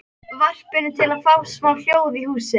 varpinu, til að fá smá hljóð í húsið.